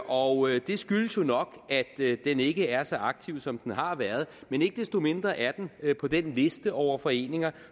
og det skyldes jo nok at den ikke er så aktiv som den har været men ikke desto mindre er den på den liste over foreninger